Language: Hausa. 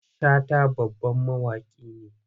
Shata babban mawaki ne.